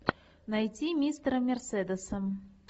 найти мистера мерседеса